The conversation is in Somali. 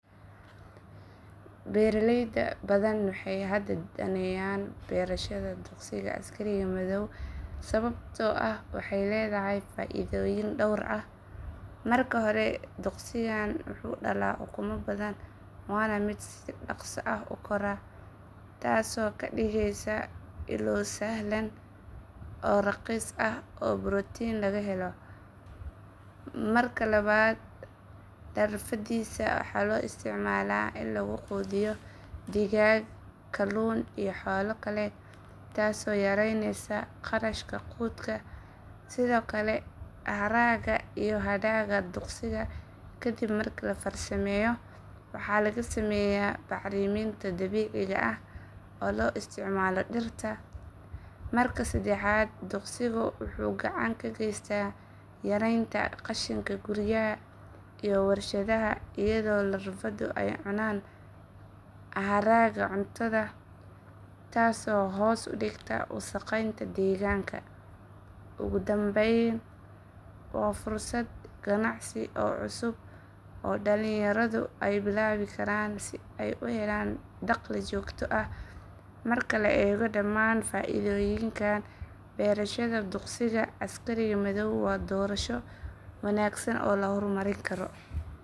Beeraley badan waxay hadda danaynayaan beerashada duqsiga askariga madhow sababtoo ah waxay leedahay faa’iidooyin dhowr ah. Marka hore, duqsigan wuxuu dhalaa ukumo badan waana mid si dhaqso ah u kora, taasoo ka dhigaysa ilo sahlan oo raqiis ah oo borotiin laga helo. Marka labaad, larvadiisa waxaa loo isticmaalaa in lagu quudiyo digaag, kalluun iyo xoolo kale, taasoo yareynaysa kharashka quudka. Sidoo kale, haragga iyo hadhaaga duqsiga kadib marka la farsameeyo waxaa laga sameeyaa bacriminta dabiiciga ah oo loo isticmaalo dhirta. Marka saddexaad, duqsigu wuxuu gacan ka geystaa yaraynta qashinka guryaha iyo warshadaha iyadoo larvadu ay cunaan haraaga cuntada taasoo hoos u dhigta wasakheynta deegaanka. Ugu dambayn, waa fursad ganacsi oo cusub oo dhalinyaradu ay bilaabi karaan si ay u helaan dakhli joogto ah. Marka la eego dhammaan faa’iidooyinkan, beerashada duqsiga askariga madhow waa doorasho wanaagsan oo la horumarin karo.